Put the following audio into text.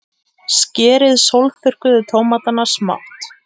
Skerið sólþurrkuðu tómatana smátt.